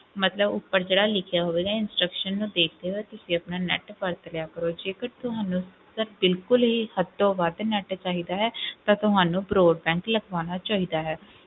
ਮਲਤਬ ਉੱਪਰ ਜਿਹੜਾ ਲਿਖਿਆ ਹੋਵੇਗਾ instructions ਨੂੰ ਦੇਖ ਲਇਓ, ਤੁਸੀਂ ਆਪਣਾ net ਵਰਤ ਲਿਆ ਕਰੋ, ਜੇਕਰ ਤੁਹਾਨੂੰ ਅਗਰ ਬਿਲਕੁਲ ਹੀ ਹੱਦੋ ਵੱਧ net ਚਾਹੀਦਾ ਹੈ ਤਾਂ ਤੁਹਾਨੂੰ broadband ਲਗਵਾਉਣਾ ਚਾਹੀਦਾ ਹੈ।